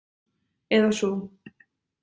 Eða sú.